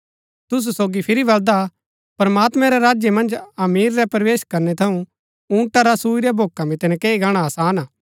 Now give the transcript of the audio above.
तुसु सोगी फिरी बलदा प्रमात्मैं रै राज्य मन्ज अमीर रै प्रवेश करनै थऊँ ऊँटा रा सुई रै भोका मितै नकैई गाणा आसान हा